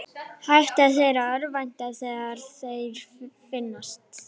Hætta þeir að örvænta þegar þeir finnast?